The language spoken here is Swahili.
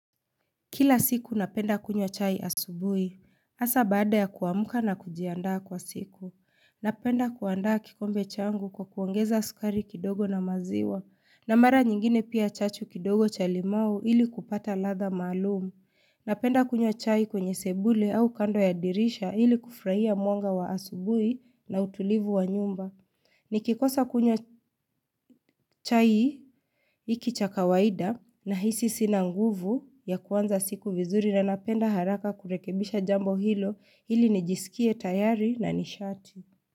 Kila siku napenda kunywa chai asubui. Asa baada ya kuamka na kujiandaa kwa siku. Napenda kuandaa kikombe changu kwa kuongeza sukari kidogo na maziwa. Na mara nyingine pia chachu kidogo cha limau ili kupata ladha maalum. Napenda kunywa chai kwenye sebule au kando ya dirisha ili kufraia mwanga wa asubui na utulivu wa nyumba. Nikikosa kunywa chai iki cha kawaida nahisi sina nguvu ya kuanza siku vizuri na napenda haraka kurekebisha jambo hilo ili nijiskie tayari na nishati.